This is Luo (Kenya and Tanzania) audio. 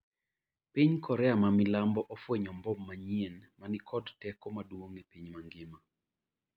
piny Korea ma milambo ofwenyo mbom manyien ma ni kod teko maduong' e piny mangima